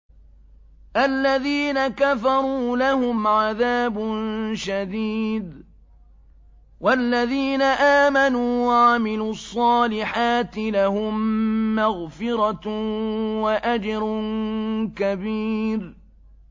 الَّذِينَ كَفَرُوا لَهُمْ عَذَابٌ شَدِيدٌ ۖ وَالَّذِينَ آمَنُوا وَعَمِلُوا الصَّالِحَاتِ لَهُم مَّغْفِرَةٌ وَأَجْرٌ كَبِيرٌ